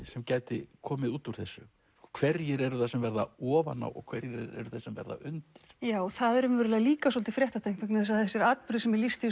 sem gæti komið út úr þessu hverjir eru það sem verða ofan á og hverjir eru það sem verða undir já það er líka svolítið fréttatengt vegna þess að þessir atburðir sem er lýst í